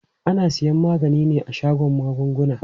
Ana siyan magani ne a shagon magunguna.